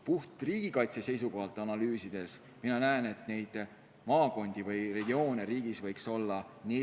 Puht riigikaitse seisukohalt analüüsides ma näen, et neid maakondi või regioone võiks Eestis olla neli.